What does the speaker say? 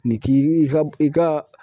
Nin k'i i ka i ka